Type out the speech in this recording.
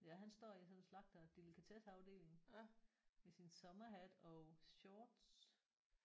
Ja han står i sådan en slagterdelikatesseafdeling med sin sommerhat og shorts